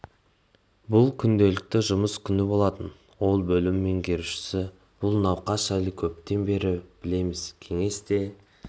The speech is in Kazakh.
бұл күнделікті жұмыс күні болатын ол бөлім меңгерушісі бұл науқас жайлы көптен бері білеміз кеңес те